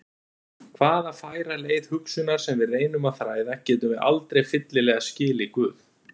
Hvaða færa leið hugsunar sem við reynum að þræða, getum við aldrei fyllilega skilið Guð.